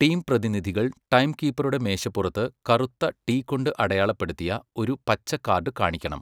Team പ്രതിനിധികൾ ടൈംകീപ്പറുടെ മേശപ്പുറത്ത് കറുത്ത 'ടി' കൊണ്ട് അടയാളപ്പെടുത്തിയ ഒരു പച്ച കാർഡ് കാണിക്കണം.